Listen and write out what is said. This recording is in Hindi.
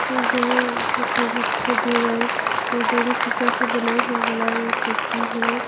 यह घर खिड़की दिखाई दे रहा है शीशा से बनाया हुआ वाला खिड़की है।